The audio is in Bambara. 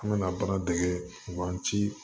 An kana baara dege u b'an ci